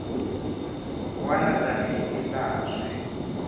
wana tani hi laha swi